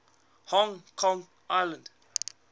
hong kong island